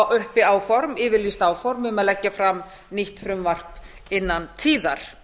uppi áform yfirlýst áform um að leggja fram nýtt frumvarp innan tíðar